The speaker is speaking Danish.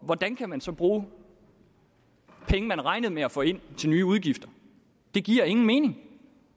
hvordan kan man så bruge penge man regnede med at få ind til nye udgifter det giver ingen mening